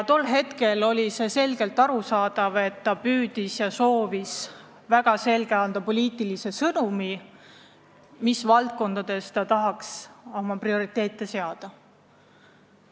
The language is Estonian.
Tol ajal oli vägagi arusaadav, et ta soovis anda väga selge poliitilise sõnumi, mis valdkondades ta tahaks oma prioriteete seada.